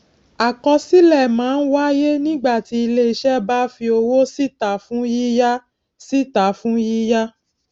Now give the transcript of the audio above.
àkọsílè má n wáyé nígbà tí iléiṣé bá fi owó síta fún yíyá síta fún yíyá